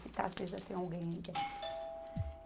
Se está acesa, tem alguém aí dentro.